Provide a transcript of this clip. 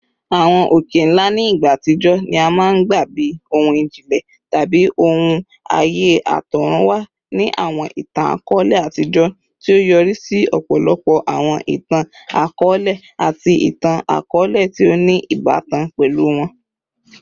Awọn oke-nla ni igba atijọ ni a maa n gba bi ohun ijinlẹ tabi awọn aaye atọrunwa ni awọn itan-akọọlẹ atijọ, ti o yori si ọpọlọpọ awọn itan-akọọlẹ ati awọn itan-akọọlẹ ti o ni ibatan pẹlu wọn.